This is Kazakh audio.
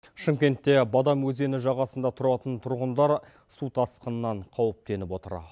шымкентте бадам өзені жағасында тұратын тұрғындар су тасқынынан қауіптеніп отыр